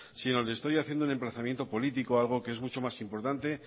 sino le estoy haciendo un emplazamiento político algo que es mucho más importante